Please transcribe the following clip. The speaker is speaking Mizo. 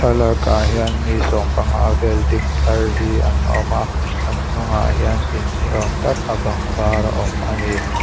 thlalakah hian mi sawmpanga vel ding tlar hi an awm a an hnungah hian in niawm tak a bang var a awm a ni.